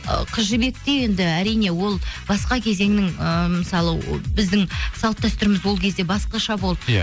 ы қыз жібекте енді әрине ол басқа кезеңнің ы мысалы о біздің салт дәстүріміз ол кезде басқаша болды иә